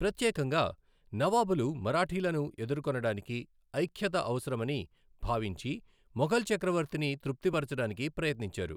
ప్రత్యేకంగా నవాబులు మరాఠీలను ఎదుర్కొనడానికి ఐఖ్యత అవసరమని భావించి మొఘల్ చక్రవర్తిని తృప్తిపరచడానికి ప్రయత్నించారు.